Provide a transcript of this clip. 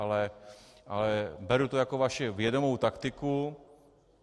Ale beru to jako vaši vědomou taktiku.